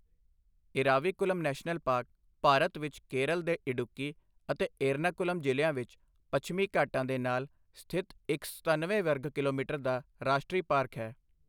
Eravikulam national park Bharat ਵਿੱਚ ਕੇਰਲ ਦੇ ਇਡੁੱਕੀ ਅਤੇ ਏਰਨਾਕੁਲਮ ਜ਼ਿਲ੍ਹਿਆਂ ਵਿੱਚ ਪੱਛਮੀ ਘਾਟਾਂ ਦੇ ਨਾਲ ਸਥਿਤ ਇੱਕ ਸਤੱਨਵੇਂ ਵਰਗ ਕਿਲੋਮੀਟਰ ਦਾ ਰਾਸ਼ਟਰੀ ਪਾਰਕ ਹੈ।